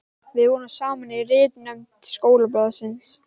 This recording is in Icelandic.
Við vorum saman í ritnefnd skólablaðsins.